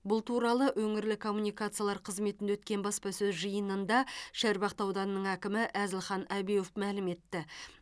бұл туралы өңірлік коммуникациялар қызметінде өткен бапсасөз жиынында шарбақты ауданының әкімі әзілхан әбеуов мәлім етті